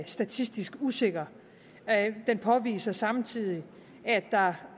statistisk usikker den påviser samtidig at der